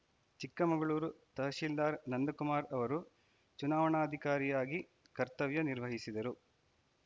ಚಿಕ್ಕಮಂಗಳೂರು ತಹಸೀಲ್ದಾರ್‌ ನಂದಕುಮಾರ್‌ ಅವರು ಚುನಾವಣಾಧಿಕಾರಿಯಾಗಿ ಕರ್ತವ್ಯ ನಿರ್ವಹಿಸಿದರು